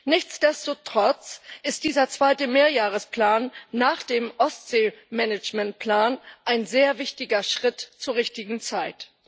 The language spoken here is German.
Nichtsdestotrotz ist dieser zweite Mehrjahresplan nach dem Ostseemanagementplan ein sehr wichtiger Schritt zur richtigen Zeit.